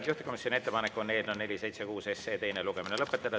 Juhtivkomisjoni ettepanek on eelnõu 476 teine lugemine lõpetada.